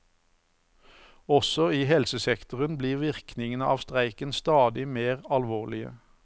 Også i helsesektoren blir virkningene av streiken stadig mer alvorlige.